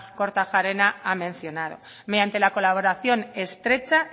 kortajarena ha mencionado mediante la colaboración estrecha